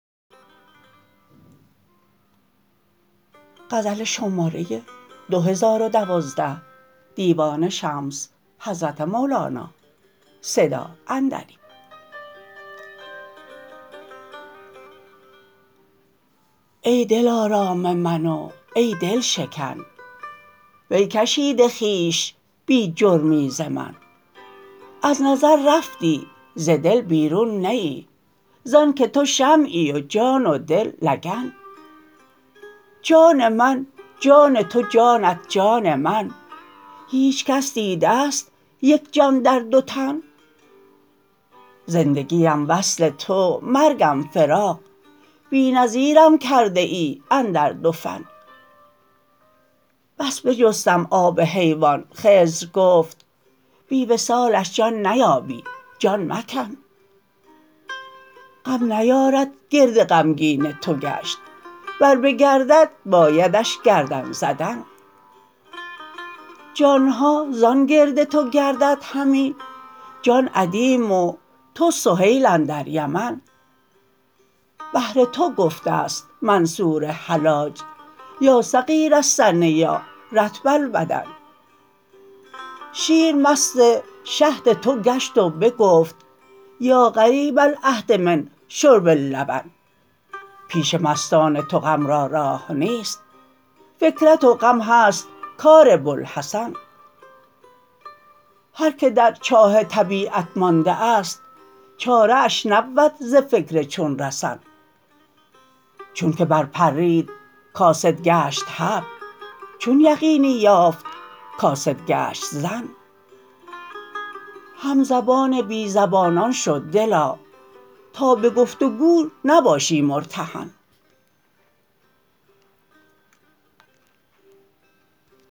ای دلارام من و ای دل شکن وی کشیده خویش بی جرمی ز من از نظر رفتی ز دل بیرون نه ای ز آنک تو شمعی و جان و دل لگن جان من جان تو جانت جان من هیچ کس دیده ست یک جان در دو تن زندگی ام وصل تو مرگم فراق بی نظیرم کرده ای اندر دو فن بس بجستم آب حیوان خضر گفت بی وصالش جان نیابی جان مکن غم نیارد گرد غمگین تو گشت ور بگردد بایدش گردن زدن جان ها زان گرد تو گرددهمی جان ادیم و تو سهیل اندر یمن بهر تو گفته ست منصور حلاج یا صغیر السن یا رطب البدن شیر مست شهد تو گشت و بگفت یا قریب العهد من شرب اللبن پیش مستان تو غم را راه نیست فکرت و غم هست کار بوالحسن هر کی در چاه طبیعت مانده است چاره اش نبود ز فکر چون رسن چونک برپرید کاسد گشت حبل چون یقینی یافت کاسد گشت ظن همزبان بی زبانان شو دلا تا به گفت و گو نباشی مرتهن